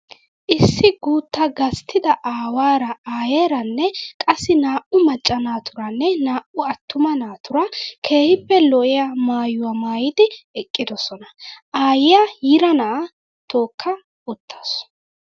Issi guuttaa gasttida aawaara aayeeranne qassi naa'u maccaa naaturanne naa''u attuma naatuura keehippe lo'iyaa maayyuwaa maayyidi eqqidosona. Aayyiyaa yiira na'aa tookka uttaasu.